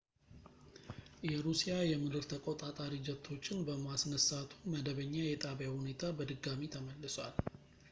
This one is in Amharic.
የሩሲያ የምድር ተቆጣጣሪ ጀቶችን በማስነሳቱ መደበኛ የጣቢያው ሁኔታ በድጋሚ ተመልሷል